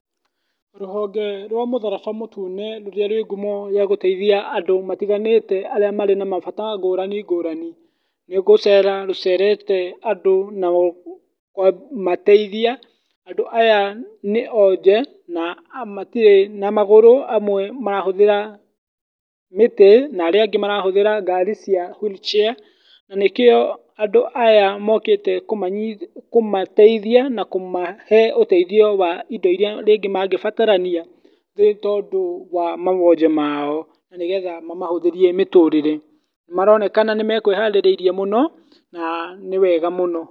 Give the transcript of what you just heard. Rũhonge rwa mũtharaba mũtune rũrĩa rwĩ ngumo ya gũteithia andũ matiganĩte arĩa marĩ na mabata ngũrani ngũrani, nĩ gũcera rũcerete andũ na kũmateithia. Andũ aya nĩ onje na matirĩ na magũrũ, amwe marahũthĩra mĩtĩ na arĩa angĩ marahũthĩra ngari cia wheelchair na nĩkĩo andũ aya mokĩte kũmateithia na kũmahe ũteithio wa indo iria rĩngĩ mangĩbatarania, nĩ tondũ wa mawonje mao na nĩ getha mamahũthĩrie mĩtũrĩre. Nĩ maronekana nĩ mekwĩharĩrĩirie mũno na nĩ wega mũno.